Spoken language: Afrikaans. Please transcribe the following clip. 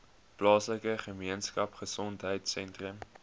plaaslike gemeenskapgesondheid sentrum